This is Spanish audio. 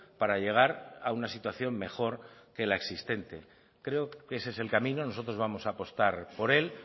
para llegar a una situación mejor que la existente creo que ese es el camino nosotros vamos a apostar por él